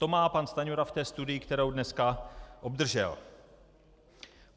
- To má pan Stajnura v té studii, kterou dneska obdržel.